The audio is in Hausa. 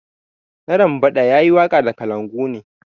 Narambada ya yi waka da kalangu ne.